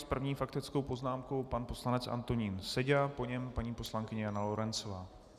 S první faktickou poznámkou pan poslanec Antonín Seďa, po něm paní poslankyně Jana Lorencová.